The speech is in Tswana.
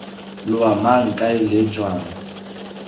loa mang kae leng jang